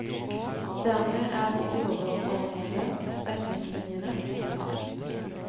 Dermed er de overordnede retningslinjene på plass.